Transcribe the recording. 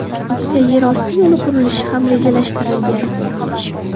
Ikkita yer osti yo‘li qurilishi ham rejalashtirilgan.